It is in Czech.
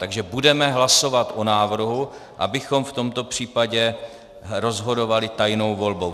Takže budeme hlasovat o návrhu, abychom v tomto případě rozhodovali tajnou volbou.